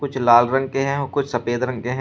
कुछ लाल रंग के हैं और कुछ सफेद रंग के हैं।